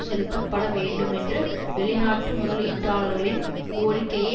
செலுத்தப்பட வேண்டுமென்ற வெளிநாட்டு முதலீட்டாளர்களின் கோரிக்கையை